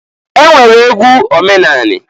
E nwere egwu omenani.